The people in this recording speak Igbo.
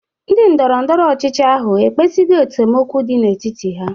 Ndị ndọrọndọrọ ọchịchị ahụ ekpezigo esemokwu dị n'etiti ha?